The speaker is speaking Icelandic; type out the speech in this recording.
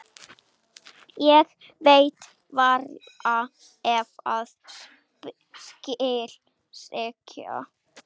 Ég veit varla hvað skal segja.